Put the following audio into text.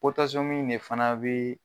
ne fana bɛ.